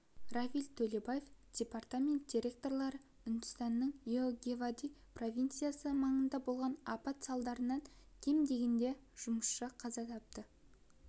равиль төлебаев департамент директоры үндістанның йогевади провинциясы маңында болған апат салдарынан кем дегенде жұмысшы қаза тапты